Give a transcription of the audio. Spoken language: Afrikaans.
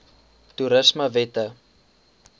toerismewette